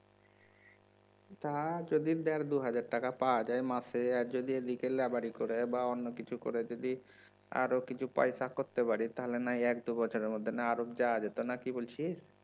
তা যদি দেড় দু হাজার টাকা পাওয়া যায় মাসে আর যদি এদিকে লেবারি করে বা অন্য কিছু করে যদি আরও কিছু পয়সা করতে পারি তাহলে নয় এক দু বছরের মধ্যে নয় আরব যাওয়া যেত নাকি বলছিস